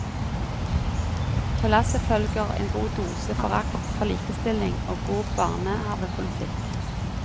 På lasset følger en god dose forakt for likestilling og god barnehavepolitikk.